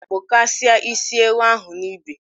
kpụkasịa isi ewu ahụ n’ibe!